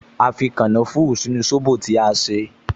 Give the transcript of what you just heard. A fi kànáfùrù sínú sóbò tí a ṣe